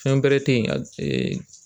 Fɛn bɛrɛ te yen a